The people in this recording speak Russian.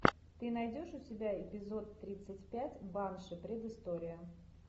ты найдешь у себя эпизод тридцать пять банши предыстория